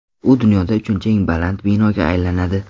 U dunyoda uchinchi eng baland binoga aylanadi.